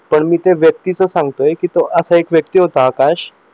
पण मी त्या व्यक्तीच सांगतोय कि एक व्यक्ती होता आकाश